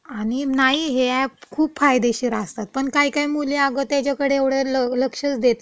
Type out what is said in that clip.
आणि नाही, हे अॅप खुप फायदेशीर असतात. पण काही काही मुले अगं त्याच्याकडे एवढं लक्षच देत नाही.